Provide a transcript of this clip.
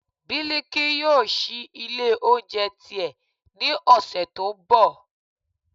biliki yóò síí ilé oúnjẹ ti e, ní ọṣẹ to n bò